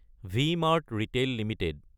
V-Mart retail Ltd